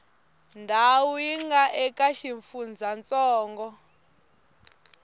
ndhawu yi nga eka xifundzantsongo